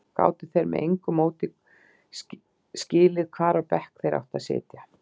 Gátu þeir með engu móti skilið hvar á bekk þeir áttu að sitja?